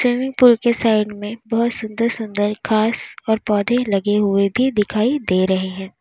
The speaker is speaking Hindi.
स्वीमिंग पूल के साइड में बहुत सुन्दर सुंदर घास और पौधे लगे हुए भी दिखाई दे रहे हैं।